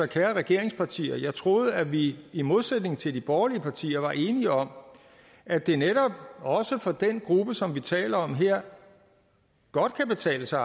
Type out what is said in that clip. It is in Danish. kære regeringspartier jeg troede at vi i modsætning til de borgerlige partier var enige om at det netop også for den gruppe som vi taler om her godt kan betale sig